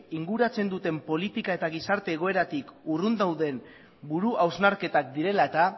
inguratzen duten politika eta gizarte egoeratik urrun dauden buru hausnarketak direla eta